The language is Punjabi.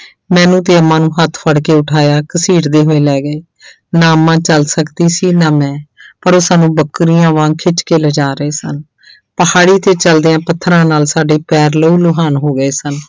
ਮੈਨੂੰ ਤੇ ਅੰਮਾ ਨੂੰ ਹੱਥ ਫੜ ਕੇ ਉਠਾਇਆ ਘਸੀੜਦੇ ਹੋਏ ਲੈ ਗਏ ਨਾ ਅੰਮਾ ਚੱਲ ਸਕਦੀ ਸੀ ਨਾ ਮੈਂ ਪਰ ਉਹ ਸਾਨੂੰ ਬੱਕਰੀਆਂ ਵਾਂਗ ਖਿੱਚ ਕੇ ਲਿਜਾ ਰਹੇ ਸਨ ਪਹਾੜੀ ਤੇ ਚੱਲਦਿਆਂ ਪੱਥਰਾਂ ਨਾਲ ਸਾਡੇ ਪੈਰ ਲਹੂ ਲੁਹਾਨ ਹੋ ਗਏ ਸਨ।